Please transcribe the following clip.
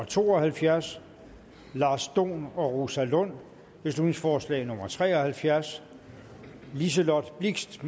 to og halvfjerds lars dohn og rosa lund beslutningsforslag nummer b tre og halvfjerds liselott blixt